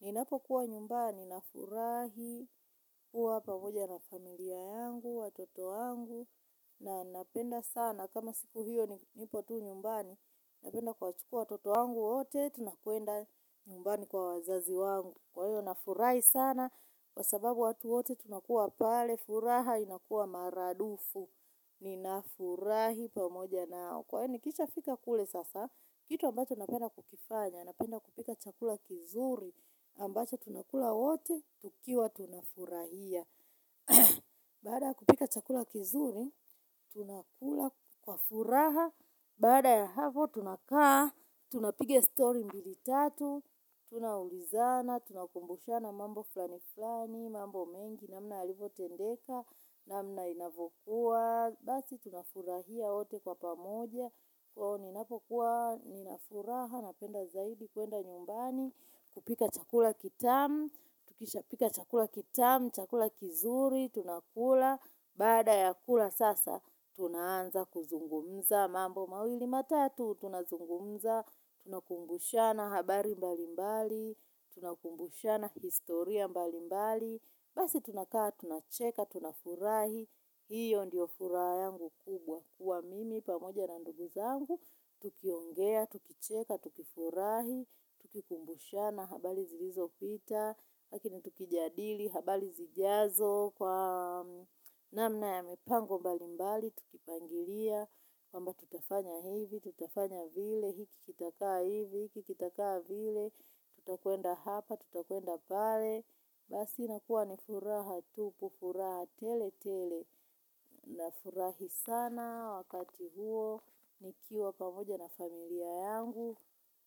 Ninapo kuwa nyumbani na furahi, kuwa pamoja na familia yangu, watoto wangu, na napenda sana. Kama siku hiyo nipo tu nyumbani, napenda kuwachukua watoto wangu wote, tunakwenda nyumbani kwa wazazi wangu. Kwa hiyo, na furahi sana, kwa sababu watu wote, tunakua pale, furaha, inakuwa maradufu. Ni na furahi pamoja nao. Kwani nikishafika kule sasa, kitu ambacho napenda kukifanya, napenda kupika chakula kizuri, ambacho tunakula wote, tukiwa tunafurahia. Baada kupika chakula kizuri, tunakula kwa furaha, baada ya hapo tunakaa kwa furaha, tunapige story mbili tatu, tunaulizana, tunakumbushana mambo flani flani, mambo mengi, namna yalivyotendeka, namna inavyokua. Basi tunafurahia wote kwa pamoja. Kwao ninapokuwa, nina furaha, napenda zaidi, kwenda nyumbani kupika chakula kitamu, tukishapika chakula kitamu, chakula kizuri, tunakula, baada ya kula sasa tunaanza kuzungumza mambo mawili matatu, tunazungumza, tunakumbushana habari mbalimbali. Tunakumbushana historia mbali mbali. Basi tunakaa, tunacheka, tunafurahi. Hio ndiyo furaha yangu kubwa kuwa mimi pamoja na ndugu zangu tukiongea, tukicheka, tukifurahi, tukikumbushana, habari zilizopita. Lakini tukijadili, habari zijazo kwa namna ya mipango mbali mbali tukipangilia, kwamba tutafanya hivi, tutafanya vile, hiki kitakaa hivi, hiki kitakaa vile tutakwenda hapa, tutakwenda pale basi inakuwa ni furaha tupu, ni furaha tele tele na furahi sana wakati huo nikiwa pamoja na familia yangu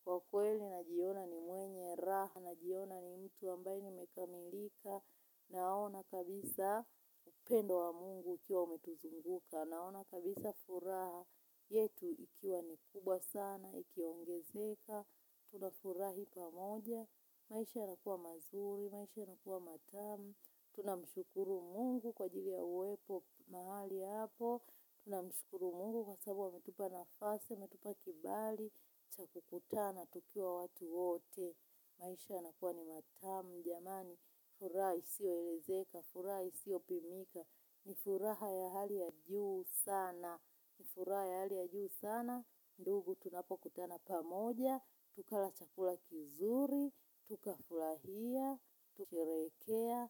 kwa kweli najiona ni mwenye raha najiona ni mtu ambaye nimekamilika naona kabisa upendo wa mungu ukiwa umetuzunguka naona kabisa furaha yetu ikiwa nikubwa sana ikiongezeka, tunafurahi pamoja, maisha yanakuwa mazuri, maisha yanakuwa matamu, tunamshukuru mungu kwa ajili ya uwepo mahali hapo, tuna mshukuru mungu kwa sababu ametupa nafasi, metupa kibali, cha kukutana, tukiwa watu wote, maisha yanakuwa ni matamu, jamani, furaha isioelezeka, furaha isiopimika, ni furaha ya hali ya juu sana, ni furaha ya hali ya juu sana, ndugu tunapokutana pamoja, tukala chakula kizuri, tukafurahia, kushereheka,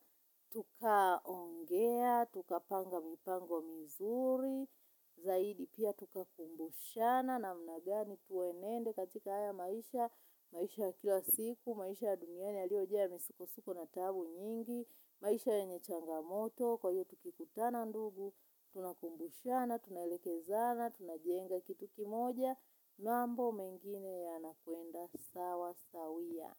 tukaongea, tukapanga mipango mizuri, zaidi pia tukakumbushana namna gani tuwenende katika haya maisha, maisha ya kila siku, maisha ya duniani yaliojaa misukosuko na taabu nyingi, maisha yenye changamoto, kwa hiyo tukikutana ndugu, tunakumbushana, tunaelekezana, tuna jenga kitu kimoja mambo mengine yanakuenda sawa, sawia.